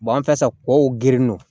an filɛ sa ko girin don